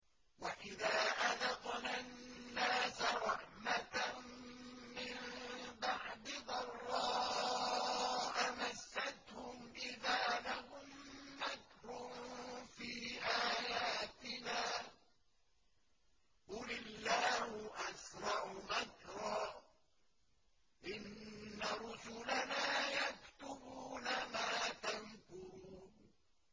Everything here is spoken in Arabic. وَإِذَا أَذَقْنَا النَّاسَ رَحْمَةً مِّن بَعْدِ ضَرَّاءَ مَسَّتْهُمْ إِذَا لَهُم مَّكْرٌ فِي آيَاتِنَا ۚ قُلِ اللَّهُ أَسْرَعُ مَكْرًا ۚ إِنَّ رُسُلَنَا يَكْتُبُونَ مَا تَمْكُرُونَ